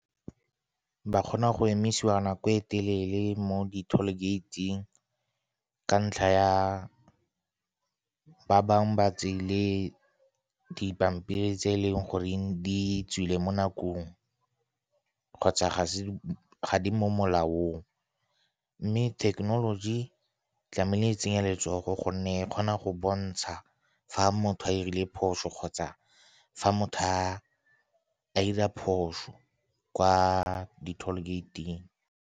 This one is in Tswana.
Ba kgona go emisiwa nako e telele mo di-toll gate-ng ka ntlha ya ba bangwe ba tseile dipampiri tse e leng goreng di tswile mo nakong kgotsa ga di mo molaong. Mme thekenoloji tlamehile e tsenye letsogo gonne e kgona go bontsha fa motho a dirile phoso kgotsa fa motho a dira phoso kwa di-toll gate-ng.